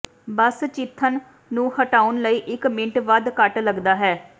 ਬਸ ਚਿੱਥਣ ਨੂੰ ਹਟਾਉਣ ਲਈ ਇੱਕ ਮਿੰਟ ਵੱਧ ਘੱਟ ਲੱਗਦਾ ਹੈ